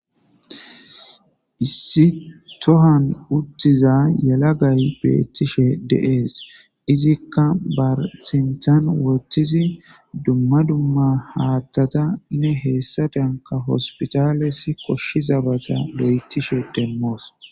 Issi tohan uttiza yalagay beettishe deees izikka barsinthan wottizi dumma dumma haattatanne heessa denka hospitalesi koshshizabata loyttishe demmoos